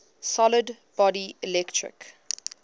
solid body electric